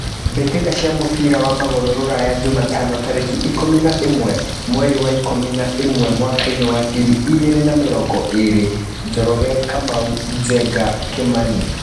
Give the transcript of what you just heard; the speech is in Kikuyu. Mbĩtĩka cia mũbira wa magũrũ Ruraya Jumatano tarĩki ikũmi na ĩmwe mweri wa ikũmi na ĩmwe mwakainĩ wa ngiri igĩrĩ na mĩrongo ĩrĩ: Njoroge, Kamau, Njenga, Kimani.